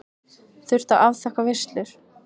Þurft að afþakka veislur.